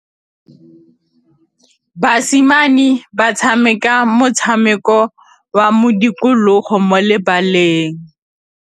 Basimane ba tshameka motshameko wa modikologô mo lebaleng.